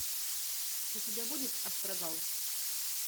у тебя будет астрагал